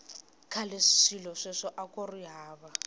khale swilo sweswo akuri hava